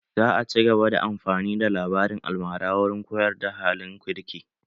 Za a cigaba da amfani da labarin almara wurin koyar da halin kirki